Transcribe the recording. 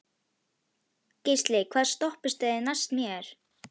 Geisli, hvaða stoppistöð er næst mér?